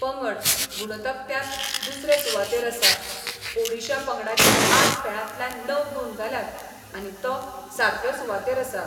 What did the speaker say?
पंगड गुण तक्त्यात दुसरे सुवातेर आसा ओडीशा पंगडाचे आठ खेळातल्यान णव गुण जाल्यात आनी तो सातवे सुवातेर आसा.